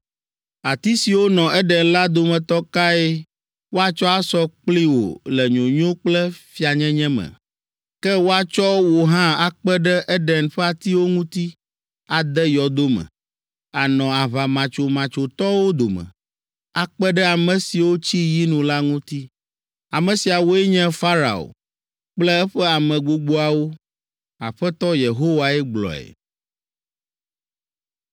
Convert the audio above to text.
“ ‘Ati siwo nɔ Eden la dometɔ kae woatsɔ asɔ kpli wò le nyonyo kple fianyenye me? Ke woatsɔ wò hã akpe ɖe Eɖen ƒe atiwo ŋuti ade yɔdo me. Ànɔ aʋamatsomatsotɔwo dome, akpe ɖe ame siwo tsi yinu la ŋuti. “ ‘Ame siawoe nye Farao kple eƒe ame gbogboawo’ Aƒetɔ Yehowae gblɔe.”